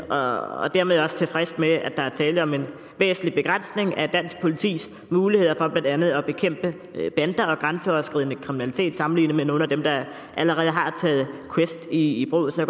og dermed også tilfreds med at der er tale om en væsentlig begrænsning af dansk politis muligheder for blandt andet at bekæmpe bander og grænseoverskridende kriminalitet sammenlignet med nogle af dem der allerede har taget quest i brug så